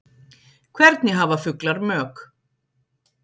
Hvernig hafa fuglar mök?